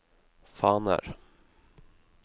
faner